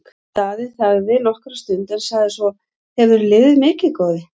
Daði þagði nokkra stund en sagði svo:-Hefurðu liðið mikið, góði?